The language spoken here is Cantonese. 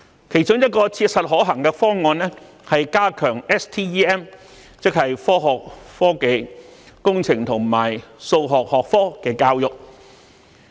其中一個切實可行的方案是，加強科學、科技、工程和數學相關學科的教育。